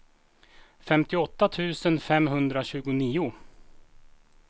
femtioåtta tusen femhundratjugonio